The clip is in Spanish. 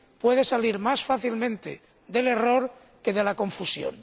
puede surgir más fácilmente del error que de la confusión.